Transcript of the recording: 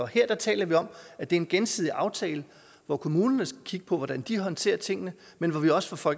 her taler vi om at det er en gensidig aftale hvor kommunerne skal kigge på hvordan de håndterer tingene men hvor vi også fra